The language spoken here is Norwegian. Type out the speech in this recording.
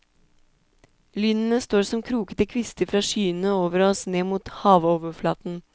Lynene står som krokete kvister fra skyene over oss ned mot havoverflaten.